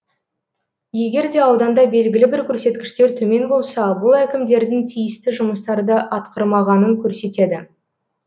егер де ауданда белгілі бір көрсеткіштер төмен болса бұл әкімдердің тиісті жұмыстарды атқармағанын көрсетеді